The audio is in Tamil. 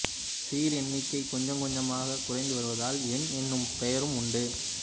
சீர் எண்ணிக்கை கொஞ்சம் கொஞ்சமாகக் குறைந்து வருவதால் எண் எனும் பெயரும் உண்டு